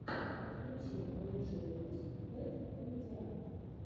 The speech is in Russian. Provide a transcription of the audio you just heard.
подключи лучший выпуск бэд комедиана